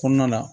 Kɔnɔna na